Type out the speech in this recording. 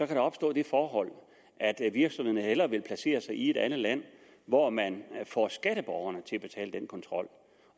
der opstå det forhold at virksomhederne hellere vil placere sig i et andet land hvor man får skatteborgerne til at betale den kontrol og